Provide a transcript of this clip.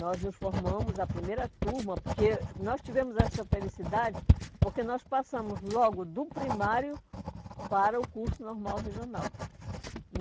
Nós nos formamos a primeira turma, porque nós tivemos essa felicidade, porque nós passamos logo do primário para o curso Normal Regional.